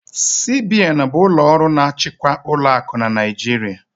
CBN bụ ụlọ ọrụ na-achịkwa ụlọakụ n'Naijiria